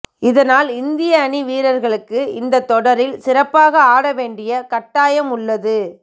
இதனால் இந்திய அணி வீரர்களுக்கு இந்த தொடரில் சிறப்பாக ஆட வேண்டிய கட்டாயம் உள்ளது